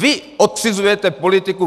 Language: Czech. Vy odcizujete politiku.